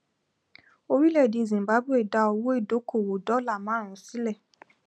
orílẹèdè zimbabwe dá owó ìdókòwò dólà márùnún sílẹ